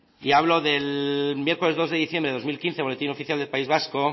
y hablo del miércoles dos de diciembre del dos mil quince boletín oficial del país vasco